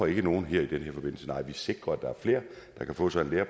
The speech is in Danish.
ikke nogen i den her forbindelse nej vi sikrer at der er flere der kan få sig en lære